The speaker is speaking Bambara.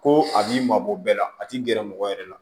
Ko a b'i mabɔ bɛɛ la a t'i gɛrɛ mɔgɔ yɛrɛ la